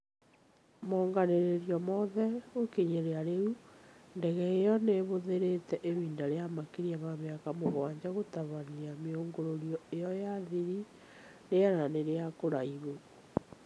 monganĩrĩirio mothe gũkinyĩria rĩu , ndege ĩyo nĩihũthĩrĩte ihinda rĩa makĩria ma mĩaka mũgwanja gũtabania miũngũrũrio ĩyo ya thiri rĩera-inĩ rĩa kũraihu